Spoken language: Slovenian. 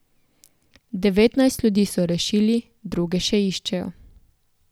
Devetnajst ljudi so rešili, druge še iščejo.